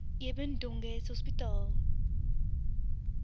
eben dönges hospitaal